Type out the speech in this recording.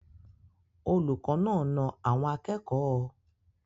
Olùkọ́ náà na àwọn akẹ́kọ̀ọ́?